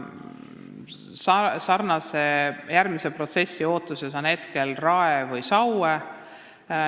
Sarnase protsessi ootuses on Rae või Saue.